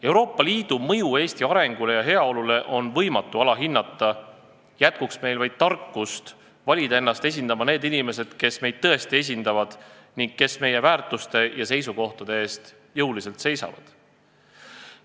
Euroopa Liidu mõju Eesti arengule ja heaolule on võimatu alahinnata – jätkuks meil vaid tarkust valida ennast esindama need inimesed, kes meid tõesti esindavad ning kes meie väärtuste ja seisukohtade eest jõuliselt seisavad!